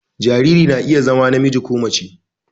Jariri na iya zama namiji ko mace